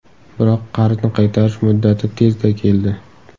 Biroq, qarzni qaytarish muddati tezda keldi.